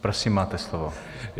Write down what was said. Prosím, máte slovo.